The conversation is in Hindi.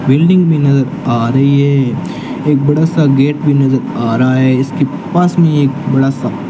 बिल्डिंग भी नजर आ रही है एक बड़ा सा गेट भी नजर आ रहा है इसके पास में एक बड़ा सा --